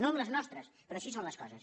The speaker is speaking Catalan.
no amb les nostres però així són les coses